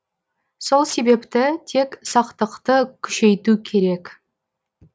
сол себепті тек сақтықты күшейту керек